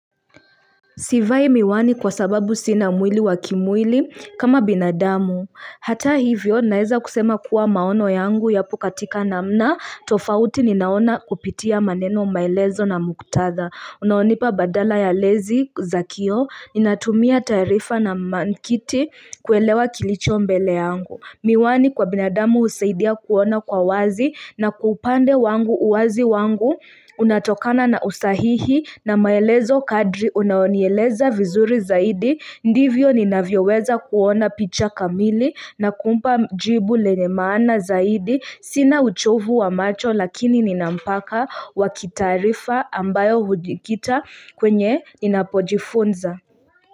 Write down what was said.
Sivai miwani kwa sababu sina mwili wa kimwili kama binadamu. Hata hivyo naeza kusema kuwa maono yangu yapo katika namna tofauti ninaona kupitia maneno maelezo na muktatha. Unaonipa badala ya lezi zakio, inatumia tarifa na maantiki kuelewa kilicho mbele yangu. Miwani kwa binadamu husaidia kuona kwa wazi na kwa upande wangu uwazi wangu unatokana na usahihi na maelezo kadri unayonieleza vizuri zaidi Ndivyo ninavyo weza kuona picha kamili na kumpa jibu lenye maana zaidi Sina uchovu wa macho lakini nina mpaka wa kitarifa ambayo hujikita kwenye ninapojifunza.